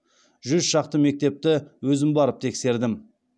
жүз шақты мектепті өзім барып тексердім